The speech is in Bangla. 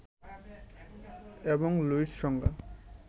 এবং লুইস সংজ্ঞা